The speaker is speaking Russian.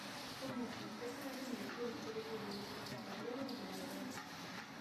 помощник подскажи мне курс перевода американского доллара в евро